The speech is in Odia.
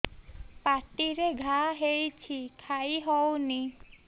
ପାଟିରେ ଘା ହେଇଛି ଖାଇ ହଉନି